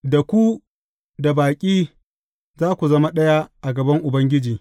Da ku, da baƙi, za ku zama ɗaya a gaban Ubangiji.